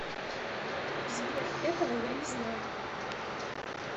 сбер этого я не знаю